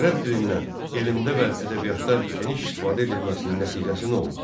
Ərəb dilindən elmdə və ədəbiyyatda geniş istifadə edilməsinin nəticəsi nə oldu?